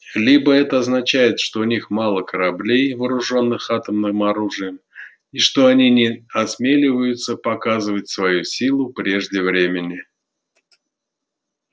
либо это означает что у них мало кораблей вооружённых атомным оружием и что они не осмеливаются показывать свою силу прежде времени